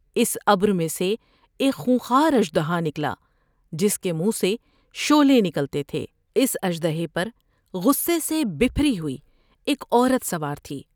اس امر میں سے ایک خون خوار اث دہا نکلا جس کے منہ سے شعلے نکلتے تھے ۔اس اثر د ہے پر غصے سے بھری ہوئی ایک عورت سوار تھی ۔